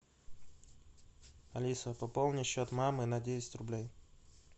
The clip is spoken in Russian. алиса пополни счет мамы на десять рублей